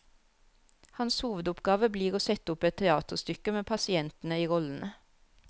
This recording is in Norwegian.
Hans hovedoppgave blir å sette opp et teaterstykke med pasientene i rollene.